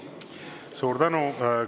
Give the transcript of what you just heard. Suur tänu!